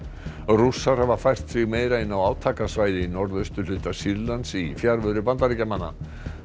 rússar hafa fært sig meira inn á átakasvæði í norðausturhluta Sýrlands í fjarveru Bandaríkjamanna